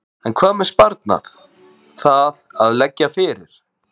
En hvað með sparnað, það að leggja fyrir?